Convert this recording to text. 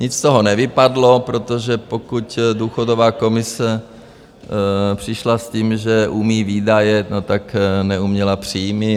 Nic z toho nevypadlo, protože pokud důchodová komise přišla s tím, že umí výdaje, no tak neuměla příjmy.